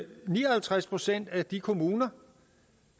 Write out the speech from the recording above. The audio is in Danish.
ni og halvtreds procent af de kommuner